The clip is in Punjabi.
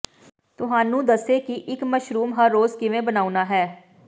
ਤੁਹਾਨੂੰ ਦੱਸੇ ਕਿ ਇਕ ਮਸ਼ਰੂਮ ਹੱਗੈਜ ਕਿਵੇਂ ਬਣਾਉਣਾ ਹੈ